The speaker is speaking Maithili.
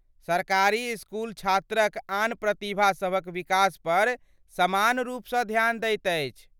सरकारी इसकुल छात्रक आन प्रतिभा सभक विकास पर समान रूपसँ ध्यान दैत अछि।